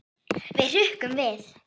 Við hrukkum við.